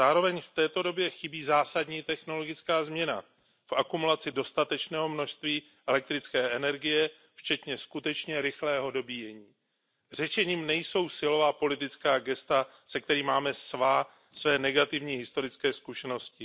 Zároveň v této době chybí zásadní technologická změna v akumulaci dostatečného množství elektrické energie včetně skutečně rychlého dobíjení. Řešením nejsou silová politická gesta, se kterými máme své negativní historické zkušenosti.